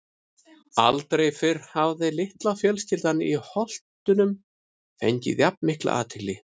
Aldrei fyrr hafði litla fjölskyldan úr Holtunum fengið jafn mikla athygli.